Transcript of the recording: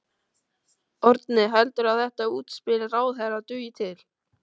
Árni, heldurðu að þetta útspil ráðherra dugi til?